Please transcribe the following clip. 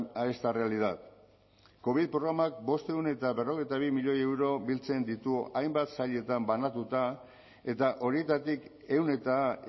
a esta realidad covid programak bostehun eta berrogeita bi milioi euro biltzen ditu hainbat sailetan banatuta eta horietatik ehun eta